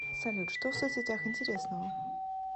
салют что в соцсетях интересного